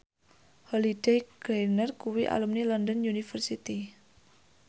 Holliday Grainger kuwi alumni London University